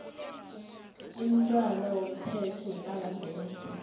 imntwana womthetho wepalamende